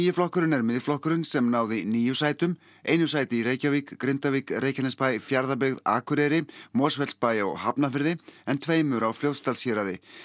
flokkurinn er Miðflokkurinn sem náði níu sætum einu sæti í Reykjavík Grindavík Reykjanesbæ Fjarðabyggð Akureyri Mosfellsbæ og Hafnarfirði en tveimur á Fljótsdalshéraði